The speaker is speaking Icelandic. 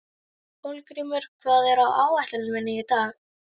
Hólmgrímur, hvað er á áætluninni minni í dag?